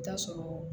I bi taa sɔrɔ